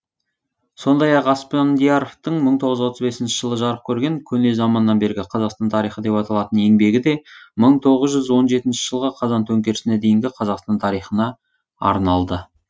сондай ақ аспандияровтың мың тоғыз жүз отыз бесінші жылы жарық көрген көне заманнан бергі қазақстан тарихы деп аталатын еңбегі де мың тоғыз жүз он жетінші жылғы қазан төңкерісіне дейінгі қазақстан тарихына арналды